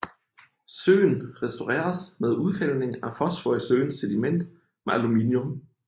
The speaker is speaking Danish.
Søen restaureres med udfældning af fosfor i søens sediment med aluminium